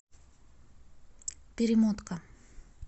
перемотка